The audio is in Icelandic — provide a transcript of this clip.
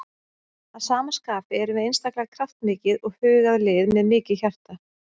Að sama skapi erum við einstaklega kraftmikið og hugað lið með mikið hjarta.